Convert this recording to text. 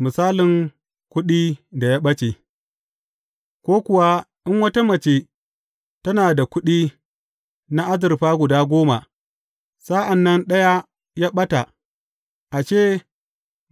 Misalin kuɗi da ya ɓace Ko kuwa in wata mace tana da kuɗi na azurfa guda goma, sa’an nan ɗaya ya ɓata, ashe,